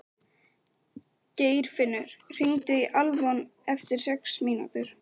Geirfinnur, hringdu í Alfons eftir sex mínútur.